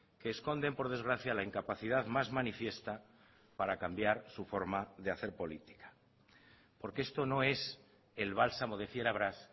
que esconden por desgracia la incapacidad más manifiesta para cambiar su forma de hacer política porque esto no es el bálsamo de fierabrás